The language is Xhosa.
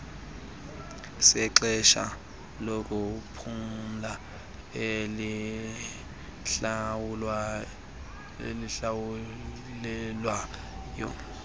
sexesha lokuphumla elihlawulelwayo